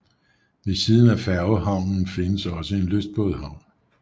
Ved siden af færgehavnen findes også en lystbådehavn